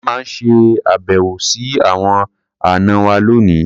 A máa ṣe àbẹ̀wò sí àwọn àna wa lónìí.